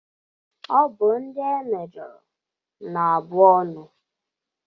Ọ bụ ndị e mejọrọ na abụ ọnụ.